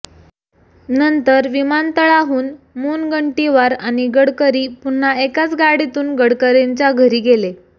नंतर विमानतळाहून मुनगंटीवार आणि गडकरी पुन्हा एकाच गाडीतून गडकरींच्या घरी गेले